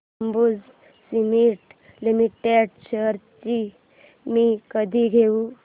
Ambuja cement limited shares मी कधी घेऊ